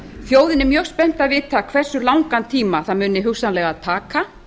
þjóðin er mjög spennt að vita hversu langan tíma það muni hugsanlega taka